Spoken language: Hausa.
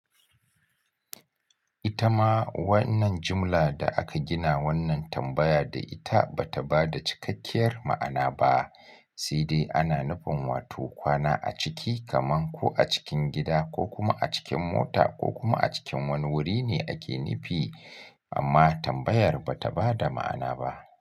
Ita ma wannan jimla da aka gina wannan tambaya da ita ba ta ba da cikakkiyar ma'ana ba, sai dai ana nufin wato kwana a ciki kaman ko a cikin gida ko kuma a cikin mota ko kuma a cikin wani wuri ne ake nufi, amma tambayar ba ta ba da ma'ana ba.